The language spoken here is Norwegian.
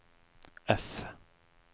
F